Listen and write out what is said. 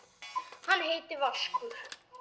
Hann heitir Vaskur.